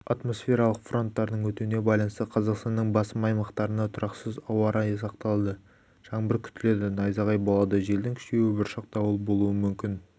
атмосфералық фронттардың өтуіне байланысты қазақстанның басым аймақтарында тұрақсыз ауа райы сақталады жаңбыр күтіледі найзағай болады желдің күшеюі бұршақ дауыл болуы мүмкін